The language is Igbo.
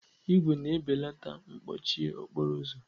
ígwè na-ebelata mkpọchie okporo ụzọ.